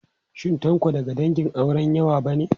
Shin Tanko daga dangin auren yawa ba ne?